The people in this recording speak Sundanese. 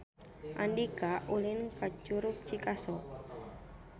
Andika ulin ka Curug Cikaso